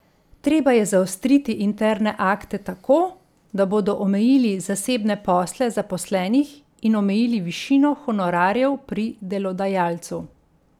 Treba je zaostriti interne akte tako, da bodo omejili zasebne posle zaposlenih in omejili višino honorarjev pri delodajalcu.